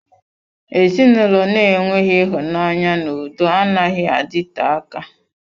Ezinụlọ na-enweghị ịhụnanya na udo anaghị adịte aka.